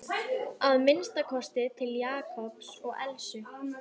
Að minnsta kosti til Jakobs og Elsu.